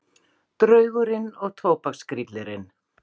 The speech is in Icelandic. Draugurinn og tóbakskyllirinn